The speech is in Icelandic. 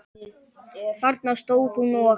Þarna stóð hún og.